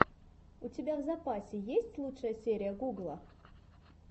у тебя в запасе есть лучшая серия гугла